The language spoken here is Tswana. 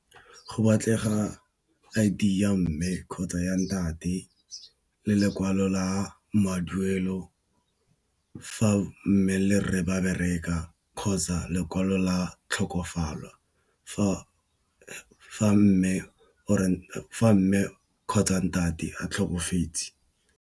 Go batlega I_D ya mme kgotsa ya ntate le lekwalo la maduelo fa mme le rre ba bereka kgotsa lekwalo la tlhokofalo fa mme kgotsa ntate a tlhokafetse.